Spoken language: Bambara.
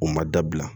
U ma dabila